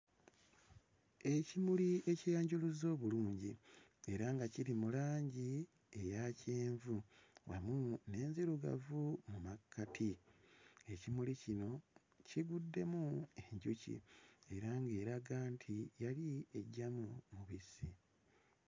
Ekimuli ekyeyanjuluzza obulungi era nga kiri mu langi eya kyenvu wamu n'enzirugavu mu makkati. Ekimuli kino kiguddemu enjuki era ng'eraga nti yali eggyamu mubisi.